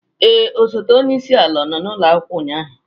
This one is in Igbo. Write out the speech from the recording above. Ee, osote onye isi ala nọ n'ụlọ akwụkwọ ụnyaahụ?